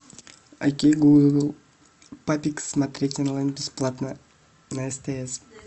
окей гугл папик смотреть онлайн бесплатно на стс